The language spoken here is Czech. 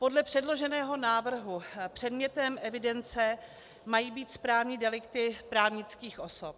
Podle předloženého návrhu předmětem evidence mají být správní delikty právnických osob.